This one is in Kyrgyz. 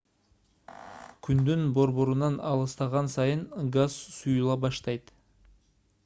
күндүн борборунан алыстаган сайын газ суюла баштайт